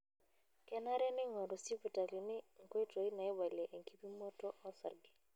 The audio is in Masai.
Kenare neingoru sispitalini nkoitoi naibalie enkipimoto osarge.